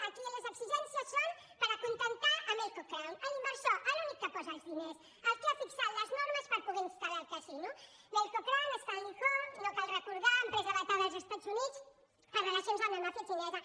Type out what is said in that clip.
aquí les exigències són per acontentar melco crown l’inversor l’únic que posa els diners el que ha fixat les normes per poder instalcal recordar ho empresa vetada als estats units per relacions amb la màfia xinesa